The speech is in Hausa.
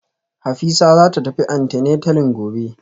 Hafisa zata tafi antenatalin gobe